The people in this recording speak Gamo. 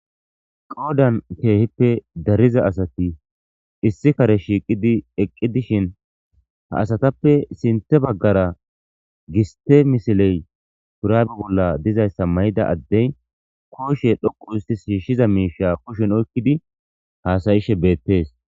Qodhdhen keehipe dariza asati shiiqidi eqi dishshin ha asstape sinththe bagara giste misile shurabe bolla dizayssa mayiza adde kushe xoqu ooti shiishiza miisha oyqi utidi haasayishe beetees.